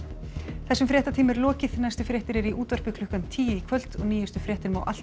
þessum fréttatíma er lokið næstu fréttir eru í útvarpi klukkan tíu í kvöld og nýjustu fréttir má alltaf